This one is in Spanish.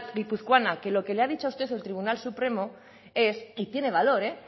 guipuzcoana que lo que le ha dicho a usted el tribunal supremo es y tiene valor